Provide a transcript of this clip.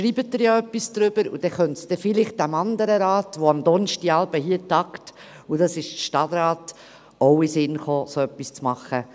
Vielleicht schreiben Sie ja etwas darüber, so könnte es vielleicht dem anderen Rat, der am Donnerstagabend hier tagt, dem Stadtrat, auch in den Sinn kommen, so etwas zu machen.